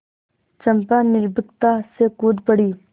चंपा निर्भीकता से कूद पड़ी